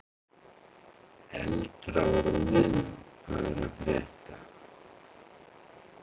Eldra úr liðnum hvað er að frétta?